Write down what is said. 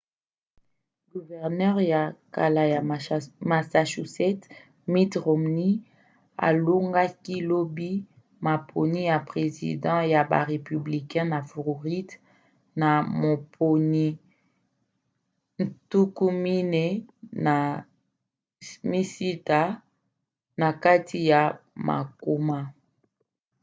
guvernere ya kala ya massachusetts mitt romney alongaki lobi maponi ya president ya ba républicain na floride na moponi 46 na kati ya mokama